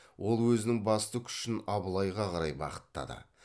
ол өзінің басты күшін абылайға қарай бағыттады